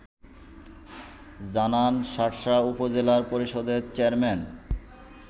জানান শার্শা উপজেলা পরিষদের চেয়ারম্যান